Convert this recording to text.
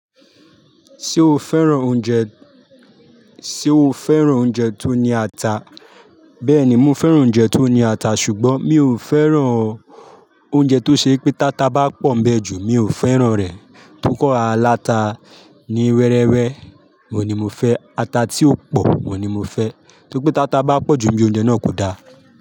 Ṣé o fẹ́ràn oúnjẹ, ṣe o fẹ́ràn oúnjẹ tó ní ata? Bẹ́ẹ̀ni, mo fẹ́ràn oúnjẹ tó ní ata ṣùgbọ́n mi ò fẹ́ràn oúnjẹ tó ṣe pé tata bá pọ̀ń bẹ́ẹ̀ ju mi ò fẹ́ràn rẹ̀. Tókó aláta ni wẹ́rẹ́wẹ́ wò ni mo fẹ́, ata tí ó pò wò ni mo fẹ́. Tókó tata bá pọ̀ ju bí i oúnjẹ náà kò da.